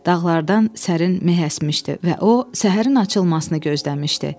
Dağlardan sərin meh əsmişdi və o, səhərin açılmasını gözləmişdi.